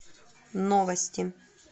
новости